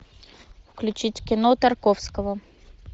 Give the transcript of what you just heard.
включить кино тарковского